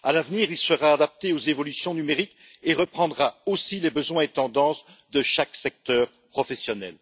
À l'avenir, il sera adapté aux évolutions numériques et reprendra aussi les besoins et tendances de chaque secteur professionnel.